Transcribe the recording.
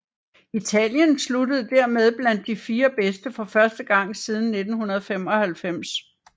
Italien sluttede dermed blandt de fire bedste for første gang siden 1995